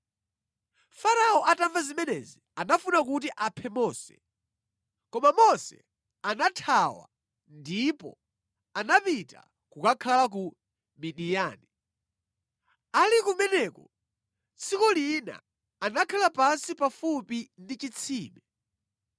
Farao atamva zimenezi anafuna kuti aphe Mose, koma Mose anathawa ndipo anapita kukakhala ku Midiyani. Ali kumeneko, tsiku lina anakhala pansi pafupi ndi chitsime.